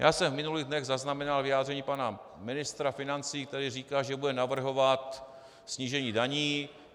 Já jsem v minulých dnech zaznamenal vyjádření pana ministra financí, který říkal, že bude navrhovat snížení daní.